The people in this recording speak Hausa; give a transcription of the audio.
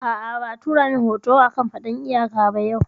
A'a, ba a tura mun rahoto a kan faɗan iyaka ba yau